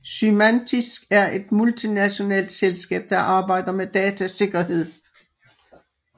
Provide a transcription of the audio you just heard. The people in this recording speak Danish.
Symantec er et multinationalt selskab der arbejder med datasikkerhed